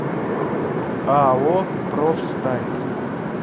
ао профсталь